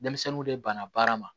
Denmisɛnninw de banna baara ma